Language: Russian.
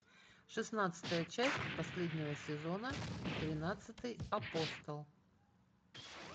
шестнадцатая часть последнего сезона тринадцатый апостол